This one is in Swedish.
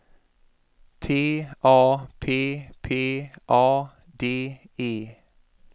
T A P P A D E